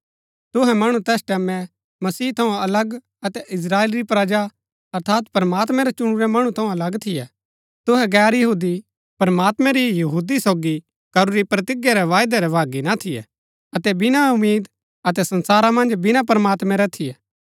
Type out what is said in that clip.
तुहै मणु तैस टैमैं मसीह थऊँ अलग अतै इस्त्राएल री प्रजा अर्थात प्रमात्मैं रै चुणुरै मणु थऊँ अलग थियै तुहै गैर यहूदी प्रमात्मैं री यहूदी सोगी करूरी प्रतिज्ञा रै वायदै रै भागी ना थियै अतै बिना उम्मीद अतै संसारा मन्ज बिना प्रमात्मैं रै थियै